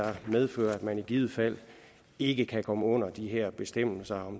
medfører at man i givet fald ikke kan komme ind under de her bestemmelser